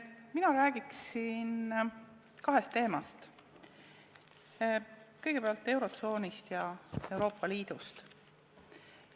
Mina räägiksin kahest teemast: kõigepealt eurotsoonist ja siis Euroopa Liidust.